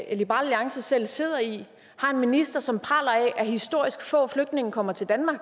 alliance selv sidder i har en minister som praler af at historisk få flygtninge kommer til danmark